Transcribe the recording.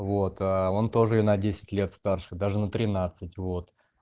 вот он тоже на десять лет старше даже на тринадцать вот